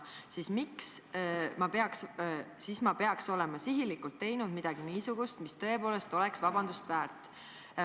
Siis ma peaks olema ikkagi sihilikult teinud midagi niisugust, mis tõepoolest on seda vabandust väärt.